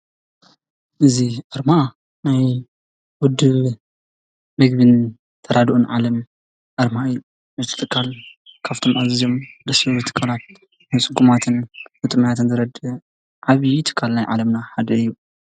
እዚ ኣርማ ናይ ውድብ ምግብን ተራድኦን ዓለም ኣርማ እዩ:: እዚ ትካል ካብቶም ኣዝዮም ደስ ዝበሉ ትካላት ንፁጉማትን ንጥሙያትን ዝረድእ ዓብዪ ትካል ናይ ዓለምና ሓደ እዩ ።